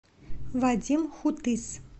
вадим хутыс